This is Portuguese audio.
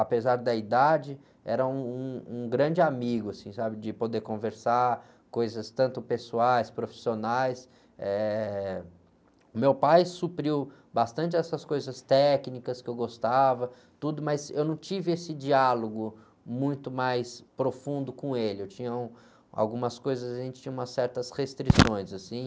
apesar da idade era um, um, um grande amigo, assim, sabe? De poder conversar coisas tanto pessoais profissionais, eh, o meu pai supriu bastante essas coisas técnicas que eu gostava, tudo, mas eu não tive esse diálogo muito mais profundo com ele eu tinha um, algumas coisas a gente tinha umas certas restrições assim